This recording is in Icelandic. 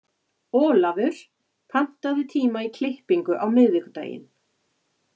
Olavur, pantaðu tíma í klippingu á miðvikudaginn.